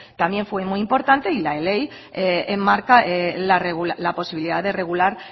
también fue muy importante y la ley enmarca la posibilidad de regular